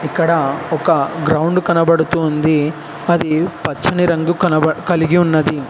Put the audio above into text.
ఇక్కడ ఒక గ్రౌండ్ కనబడుతు ఉంది అది పచ్చని రంగు కనపడ్ కలిగి ఉన్నది.